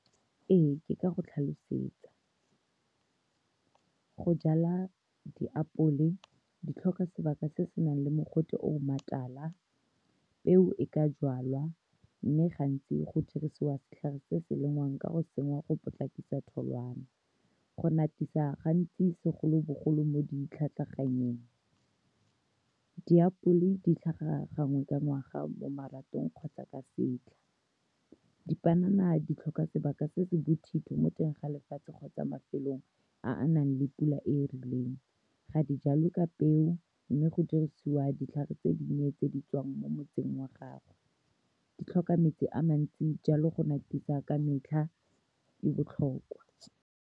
Ee, ke ka go tlhalosetsa. Go jala diapole di tlhoka sebaka se se nang le mogote o o . Peo e ka jalwa, mme gantsi go dirisiwa setlhare se se lengwang ka go tsenngwa, go potlakisa tholwana go , gantsi segolobogolo mo ditlhatlhaganyeng. Diapole di tlhaga gangwe ka ngwaga mo maratong kgotsa ka setlha. Dipanana di tlhoka sebaka se se bothitho mo teng ga lefatshe kgotsa mafelong a a nang le pula e e rileng. Ga di jalwe ka peo, mme go dirisiwa ditlhare tse dinnye tse di tswang mo motseng wa gago. Di tlhoka metsi a mantsi, jalo go ka metlha, di botlhokwa.